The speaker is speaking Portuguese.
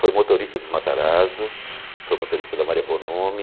Foi motorista dos Matarazzo, foi motorista da Maria Bonomi.